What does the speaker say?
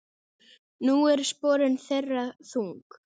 Nú eru sporin þeirra þung.